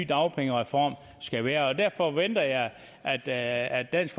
dagpengereform skal være derfor venter jeg jeg at dansk